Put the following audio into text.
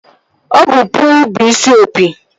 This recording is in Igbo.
Ọ bụ puu bụ isi opi